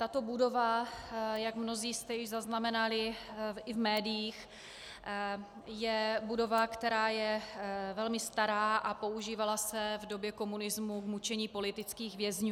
Tato budova, jak mnozí jste již zaznamenali i v médiích, je budova, která je velmi stará a používala se v době komunismu k mučení politických vězňů.